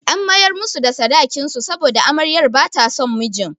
An mayar musu da sadakin su saboda amaryar ba ta son mijin.